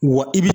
Wa i bi